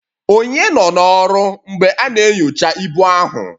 Ònye nọ n'ọrụ mgbe a na-enyocha ibu ahụ?